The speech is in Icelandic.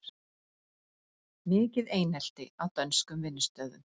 Mikið einelti á dönskum vinnustöðum